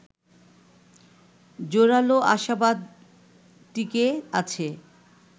জোরালো আশাবাদ টিকে আছে